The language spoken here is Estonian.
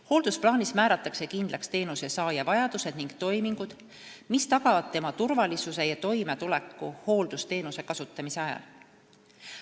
Hooldusplaanis määratakse kindlaks teenuse saaja vajadused ning toimingud, mis tagavad tema turvalisuse ja toimetuleku hooldusteenuse kasutamise ajal.